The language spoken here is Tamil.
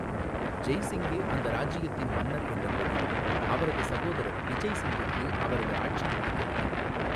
ஜெய் சிங்கே அந்த ராஜ்யத்தின் மன்னர் என்றபோதிலும், அவரது சகோதரர் பிஜய் சிங்குக்கு அவரது ஆட்சி பிடிக்கவில்லை.